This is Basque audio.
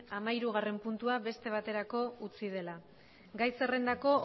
hamahirugarren puntua beste baterako utzi dela gai zerrendako